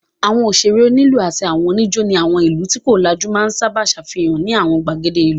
Àwọn òṣèrè, onílù àti àwọn oníjó ní àwọn ìlú tí kò lajú máa sábà ṣàfihàn ní àwọn ìgbàgede ìlú.